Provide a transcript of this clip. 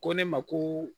Ko ne ma ko